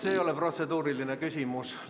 See ei ole protseduuriline küsimus.